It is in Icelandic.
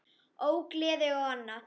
Ógleði og annað.